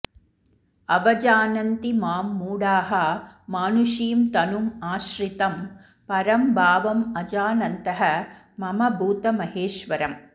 अवजानन्ति मां मूढाः मानुषीं तनुम् आश्रितम् परं भावम् अजानन्तः मम भूतमहेश्वरम्